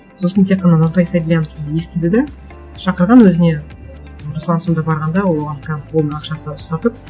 сосын тек қана нұртай сабильянов естіді де шақырған өзіне руслан сонда барғанда ол оған прямо қолына ақшасын ұстатып